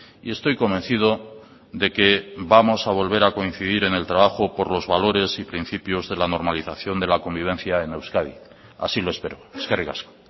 y estoy convencido de que vamos a volver a coincidir en el trabajo por los valores y principios de la normalización de la convivencia en euskadi así lo espero eskerrik asko